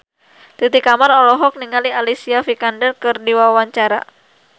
Titi Kamal olohok ningali Alicia Vikander keur diwawancara